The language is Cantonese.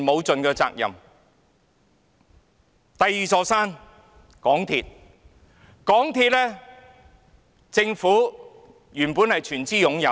眾所周知，港鐵公司原本由政府全資擁有。